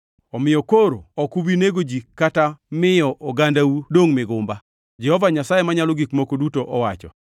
omiyo koro ok ubi nego ji kata miyo ogandau dongʼ migumba, Jehova Nyasaye Manyalo Gik Moko Duto owacho.